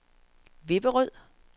Vipperød